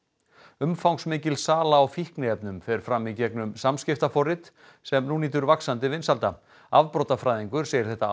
umfangsmikil sala á fíkniefnum fer fram í gegnum samskiptaforrit sem nú nýtur vaxandi vinsælda afbrotafræðingur segir þetta